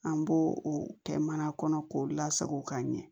An b'o o kɛ mana kɔnɔ k'o lasago ka ɲɛ